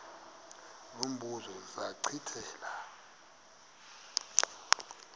lo mbuzo zachithela